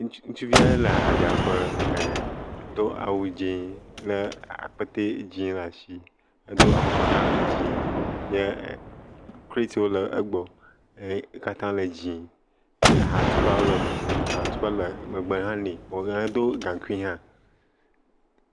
Ŋutsuvi aɖe le ahadzraƒe ɛɛ do awu dziẽ lé akpete dzẽ le ashi hedo afɔkpa hã dziẽ ye kretiwo le egbɔ. Ekatã le dziẽ. Ahatukpawo le me, ahatukpa le megbe hã nɛ. Edo gaŋkui hã